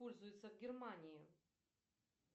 пользуются в германии